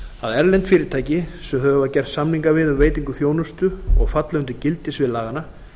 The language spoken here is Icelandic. að erlend fyrirtæki sem þau hafa gert samninga við um veitingu þjónustu og falla undir gildissvið laganna